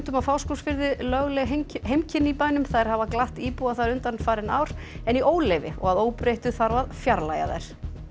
á Fáskrúðsfirði lögleg heimkynni í bænum þær hafa glatt íbúa þar undanfarin ár en í óleyfi og að óbreyttu þarf að fjarlægja þær